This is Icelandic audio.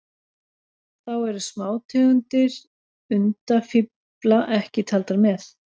Þá eru smátegundir undafífla ekki taldar með.